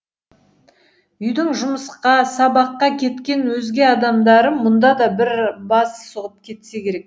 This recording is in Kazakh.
үйдің жұмысқа сабаққа кеткен өзге адамдары мұнда да бір бас сұғып кетсе керек